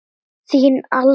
Þín Alda.